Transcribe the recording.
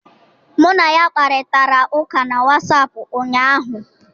Mụ na ya kparịtara ụka na Wassapụ ụnyahụ